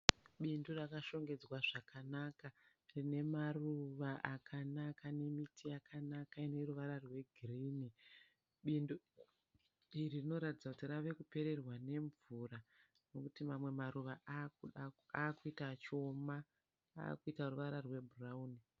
Bindu rakashongedzwa zvakanaka rine maruva akanaka nemiti yakanaka ine ruvara rwegirinhi. Bindu iri rinoratidza kuti rave kupererwa nemvura nekuti mamwe maruva akuita achioma akuita ruvara rwebhurawuni.